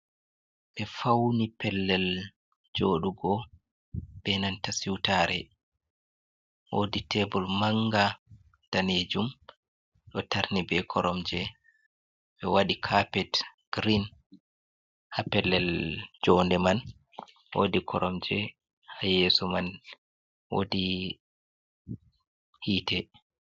Ɓe fawni pellel jooɗugo, jey nanta siwtaare. Woodi teebur mannga daneejum ɗo tarni ɓe koromje, ɓe waɗi kapet girin haa pellel joonde man. Woodi koromje haa yeeso man. woodi hiite.